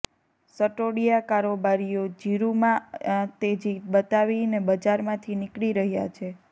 સટોડિયા કારોબારીઓ જીરુંમાં આ તેજી બતાવીને બજારમાંથી નીકળી રહ્યાં છે